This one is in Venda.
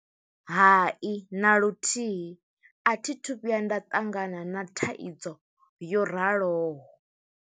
Hai, na luthihi. A thi thu vhuya nda ṱangana na thaidzo yo raloho.